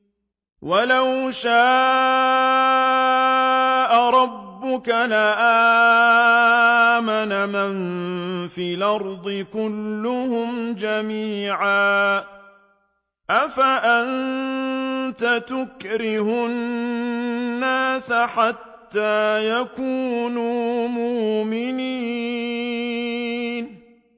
وَلَوْ شَاءَ رَبُّكَ لَآمَنَ مَن فِي الْأَرْضِ كُلُّهُمْ جَمِيعًا ۚ أَفَأَنتَ تُكْرِهُ النَّاسَ حَتَّىٰ يَكُونُوا مُؤْمِنِينَ